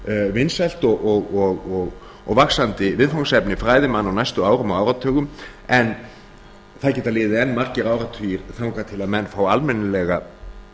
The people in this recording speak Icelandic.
að verða vinsælt og vaxandi viðfangsefni fræðimanna á næstu árum og áratugum en það geta liðið enn margir áratugir þangað til að menn fá almennilega